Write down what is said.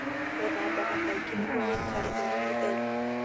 Gũthambaga kaingĩ nĩguo ũikare ũrĩ mũtheru.